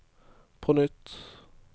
på nytt